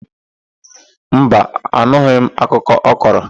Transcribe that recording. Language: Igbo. Mba, anụghị m akụkọ ọ kọrọ.